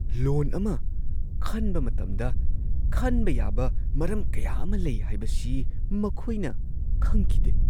ꯂꯣꯟ ꯑꯃ ꯈꯟꯕ ꯃꯇꯝꯗ ꯈꯟꯕ ꯌꯥꯕ ꯃꯔꯝ ꯀꯌꯥ ꯑꯃ ꯂꯩ ꯍꯥꯏꯕꯁꯤ ꯃꯈꯣꯏꯅ ꯈꯪꯈꯤꯗꯦ!